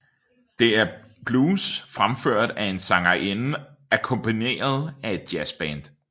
Det er blues fremført af en sangerinde akkompagneret af et jazzband